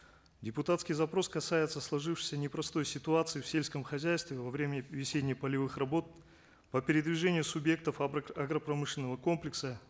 депутатский запрос касается сложившейся непростой ситуации в сельском хозяйстве во время весенне полевых работ по передвижению субъектов агропромышленного комплекса